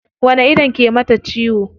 Wani ido ke mata ciwon?